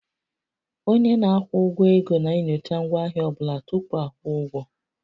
Onye na-akwụ ụgwọ ego na-enyocha ngwaahịa ọ bụla tupu a kwụọ ụgwọ